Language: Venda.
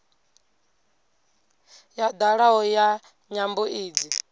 ya dalaho ya nyambo idzi